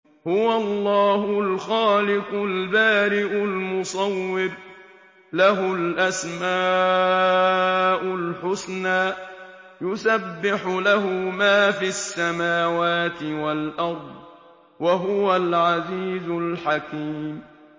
هُوَ اللَّهُ الْخَالِقُ الْبَارِئُ الْمُصَوِّرُ ۖ لَهُ الْأَسْمَاءُ الْحُسْنَىٰ ۚ يُسَبِّحُ لَهُ مَا فِي السَّمَاوَاتِ وَالْأَرْضِ ۖ وَهُوَ الْعَزِيزُ الْحَكِيمُ